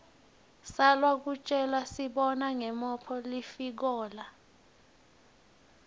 sacwa kutjelasibona ngomophg lifikola